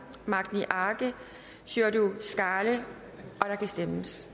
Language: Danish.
magni arge og sjúrður skaale der kan stemmes